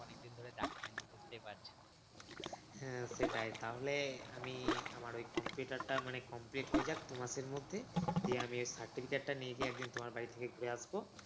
হ্যাঁ সেটাই তাহলে আমি আমার ওই computer টা মানে complete হয়ে যাক দুমাস এর মধ্যে দিয়ে আমি certificate টা নিয়ে গিয়ে তোমার বাড়ি থেকে ঘুরে আসবো।